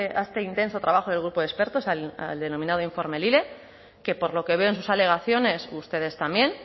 a este intenso trabajo del grupo de expertos al denominado informe lile que por lo que veo en sus alegaciones ustedes también